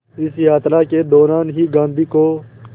इस यात्रा के दौरान ही गांधी को